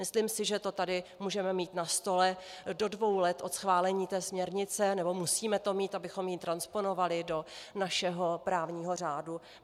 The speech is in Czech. Myslím si, že to tady můžeme mít na stole do dvou let od schválení té směrnice, nebo musíme to mít, abychom ji transponovali do našeho právního řádu.